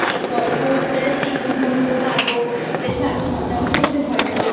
গল্পও করে আসি একটু ঘুরবো খাবো বেশ ভালো মজাও করতে পারবো I